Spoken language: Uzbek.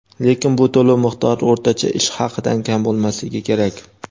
lekin bu to‘lov miqdori o‘rtacha ish haqidan kam bo‘lmasligi kerak.